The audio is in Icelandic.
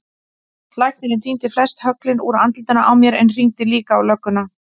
Læknirinn tíndi flest höglin úr andlitinu á mér en hringdi líka á lögguna.